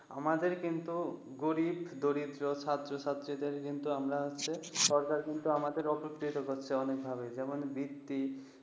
আমাদের কিন্তু গরিব দরিদ্র ছাত্র ছাত্রীদের কিন্তু আমরা হচ্ছে সরকার কিন্তু আমাদের অব্তিত্ব করছে অনেক ভাবে যেমন বৃত্তি ।